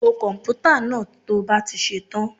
Bo komputa náà to bá ti ṣe tán.